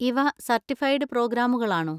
ഇവ സർട്ടിഫൈഡ് പ്രോഗ്രാമുകളാണോ?